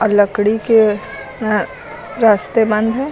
लकड़ी के अह रास्ते बंद हैं।